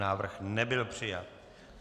Návrh nebyl přijat.